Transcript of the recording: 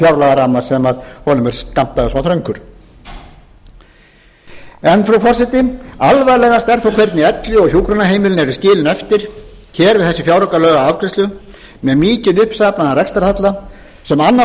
fjárlagaramma sem honum er skammtaður svo þröngur frú forseti alvarlegast er þó hvernig elli og hjúkrunarheimilin eru skilin eftir við þessa fjáraukalagaafgreiðslu með mikinn uppsafnaðan rekstrarhalla sem annaðhvort hvílir á